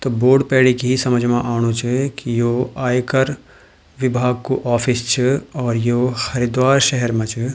तो बोर्ड पैड़ी की समझ मा आणु च की यो आयकर विभाग कु ऑफिस च और यो हरिद्वार शहर मा च।